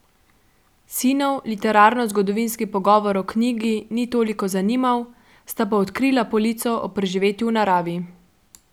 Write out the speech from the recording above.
Sinov literarnozgodovinski pogovor o knjigi ni toliko zanimal, sta pa odkrila polico o preživetju v naravi.